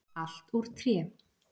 Allt úr tré.